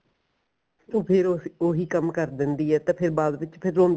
ਤੇ ਫੇਰ ਉਹੀ ਕੰਮ ਕਰ ਦੇਂਦੀ ਏ ਤੇ ਫੇਰ ਬਾਅਦ ਵਿੱਚ ਫੇਰ ਰੋਂਦੀ